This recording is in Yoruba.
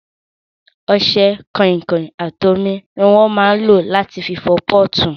Ọṣẹ, kọ̀ìnkọ̀ìn àti omi ni wón máa ń lò láti fọ pọ́ọ̀tù